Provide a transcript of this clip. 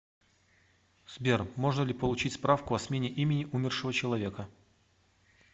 сбер можно ли получить справку о смене имени умершего человека